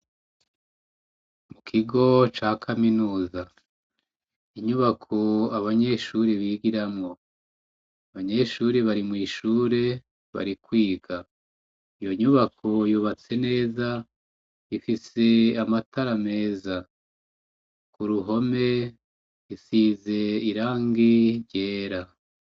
Mu kigo ca kaminuza inyubako abanyeshuri bigiramwo banyeshuri bari mw'ishure bari kwiga iyo nyubako yubatse neza ifise amatara meza ku ruhome isize irangi ryera.